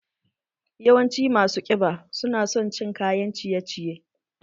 Yawancin masu ƙiba su na son cin kayan ciye ciye